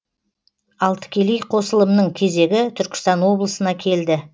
ал тікелей қосылымның кезегі түркістан облысына келді